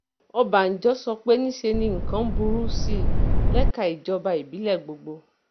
ọbànjọ́ sọ pé níṣe ni nǹkan ń burú sí i lẹ́ka ìjọba ìbílẹ̀ gbogbo